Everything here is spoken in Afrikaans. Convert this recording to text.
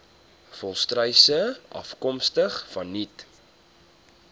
volstruise afkomstig vanuit